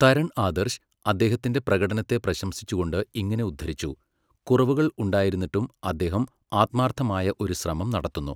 തരൺ ആദർശ്, അദ്ദേഹത്തിൻ്റെ പ്രകടനത്തെ പ്രശംസിച്ചുകൊണ്ട് ഇങ്ങനെ ഉദ്ധരിച്ചു, 'കുറവുകൾ ഉണ്ടായിരുന്നിട്ടും, അദ്ദേഹം ആത്മാർത്ഥമായ ഒരു ശ്രമം നടത്തുന്നു'.